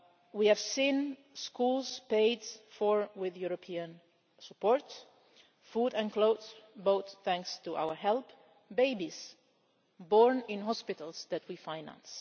We have seen schools paid for with European support, food and clothes, both thanks to our help, babies born in hospitals that we finance.